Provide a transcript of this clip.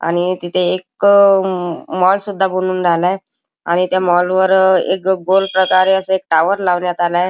आणि तिथे एक अ म माॅल सुद्धा बनुन राहिलाय आणि त्या माॅल वर अ एक गोल प्रकारे असे टाॅवर लावण्यात आलाय.